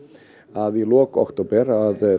að í lok október